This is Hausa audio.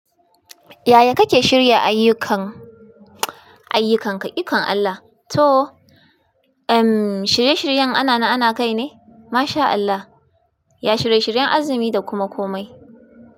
Yaya kake shirya ayyukanka, ayyukanka, ikon Allah? To, ehm, shirye-shiryen ana na ana kai ne. Masha Allah, ya shirye-shiryen azumi da kuma komai.